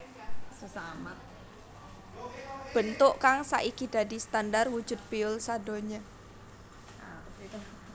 Bentuk kang saiki dadi standar wujud piyul sadonya